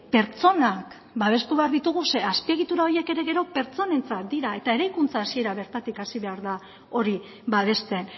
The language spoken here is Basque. pertsonak babestu egin behar ditugu zeren azpiegitura horiek ere gero pertsonentzat dira eta eraikuntza hasiera bertatik hasi behar da hori babesten